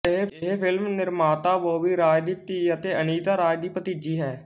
ਇਹ ਫ਼ਿਲਮ ਨਿਰਮਾਤਾ ਬੋਬੀ ਰਾਜ ਦੀ ਧੀ ਅਤੇ ਅਨੀਤਾ ਰਾਜ ਦੀ ਭਤੀਜੀ ਹੈ